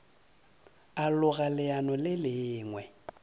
a loga leano le lengwe